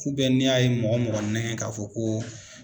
ni a ye mɔgɔ mɔgɔ nɛgɛn k'a fɔ ko